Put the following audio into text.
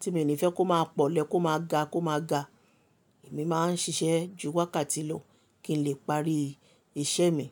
tí mi ò ní fẹ́ kó máa pọ̀lẹ̀ kó máa ga kó máa ga, èmi máa ń ṣiṣẹ́ ju wákàtí lọ kí n lè parí iṣẹ́ mi.